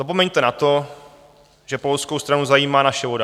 Zapomeňte na to, že polskou stranu zajímá naše voda.